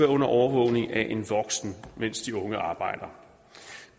under overvågning af en voksen mens de unge arbejder